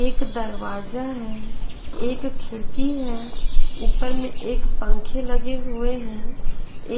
एक दरवाजा है एक खिड़की है ऊपर में एक पंखे लगे हुए हैं